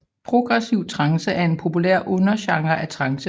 Progressiv trance er en populær undergenre af trance